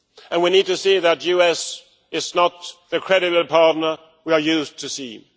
We need to see that the US is not the credible partner we are used to seeing.